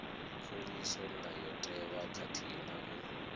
khuliso ndayotewa khathihi na u